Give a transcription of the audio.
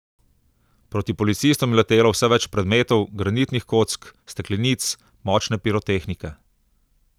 Proti policistom je letelo vse več predmetov, granitnih kock, steklenic, močne pirotehnike ...